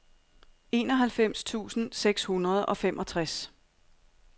enoghalvfems tusind seks hundrede og femogtres